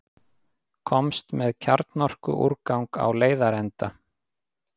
Komst með kjarnorkuúrgang á leiðarenda